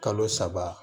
Kalo saba